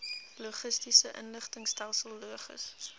logistiese inligtingstelsel logis